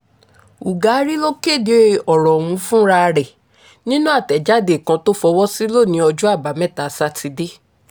ugari ló kéde ọ̀rọ̀ ọ̀hún fúnra ẹ̀ nínú àtẹ̀jáde kan tó fọwọ́ sí lónìí ọjọ́ àbámẹ́ta sátidé